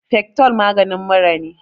fectol maganin mura ne